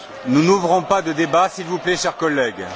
Nous n'ouvrons pas de débat, s'il vous plaît, chers collègues.